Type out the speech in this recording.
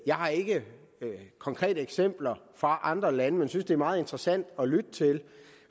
jeg har ikke konkrete eksempler fra andre lande men synes at det er meget interessant at lytte til